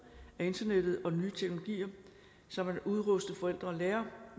af internettet og nye teknologier så man udruster forældre og lærere